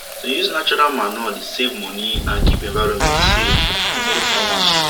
to use natural manure dey save money and keep environment safe for tomorrow farmers